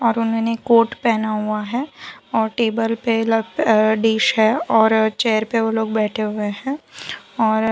और उन्होंने कोट पहना हुआ है और टेबल पे ल अ डिश है और चेयर पे वो लोग बैठे हुए हैं और --